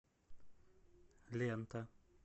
лента